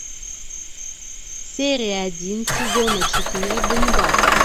серия один сезона четыре ганнибал